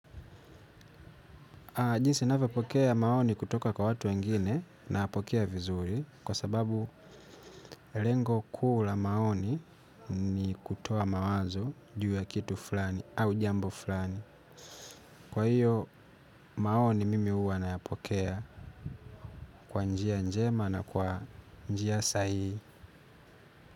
Jinsi ninavyopokea maoni kutoka kwa watu wengine nayapokea vizuri kwa sababu lengo kuu la maoni ni kutoa mawazo juu ya kitu fulani au jambo fulani. Kwa hiyo maoni mimi huwa nayapokea kwa njia njema na kwa njia sahihi.